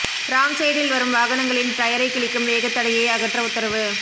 wrong சைடில் வரும் வாகனங்களின் டயரை கிழிக்கும் வேகத்தடையை அகற்ற உத்தரவு